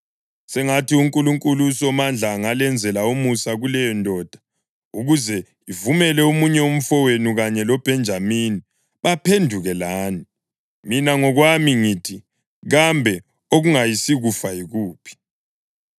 Sengathi uNkulunkulu uSomandla angalenzela umusa kuleyondoda ukuze ivumele omunye umfowenu kanye loBhenjamini baphenduke lani. Mina ngokwami ngithi, kambe okungayisikufa yikuphi!”